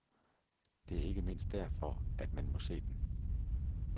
Det er ikke mindst derfor, at man må se den.